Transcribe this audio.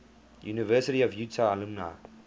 university of utah alumni